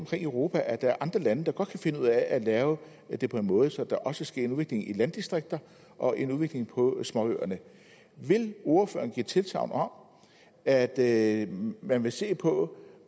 i europa at der er andre lande der godt kan finde ud af at lave det på en måde så der også sker en udvikling i landdistrikter og en udvikling på småøerne vil ordføreren give tilsagn om at at man vil se på